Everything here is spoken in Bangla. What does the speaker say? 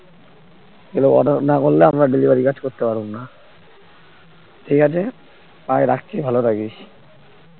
এগুলো order না করলে আমরা delivery কাজ করতে পারবো না ঠিক আছে bye রাখছি ভালো থাকিস